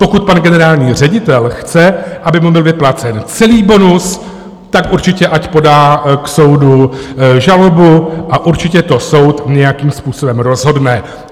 Pokud pan generální ředitel chce, aby mu byl vyplácen celý bonus, tak určitě ať podá k soudu žalobu a určitě to soud nějakým způsobem rozhodne.